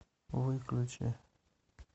выключи